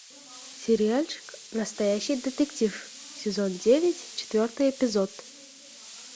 сериальчик настоящий детектив сезон девять четвертый эпизод